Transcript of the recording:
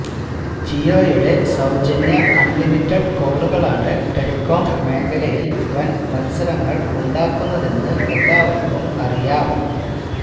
ജിയോയുടെ സൌജന്യ അണ്ലിമിറ്റഡ് കോളുകളാണ് ടെലികോം മേഖലയില് വന് മത്സരങ്ങള് ഉണ്ടാക്കുന്നതെന്ന് എല്ലാവര്ക്കും അറിയാം